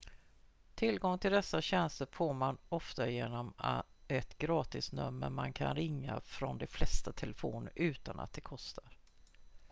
tillgång till dessa tjänster får man ofta genom ett gratisnummer man kan ringa från de flesta telefoner utan att det kostar